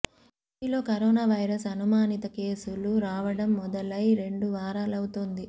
ఏపీలో corona virus అనుమానిత కేసులు రావడం మొదలై రెండు వారాలవుతోంది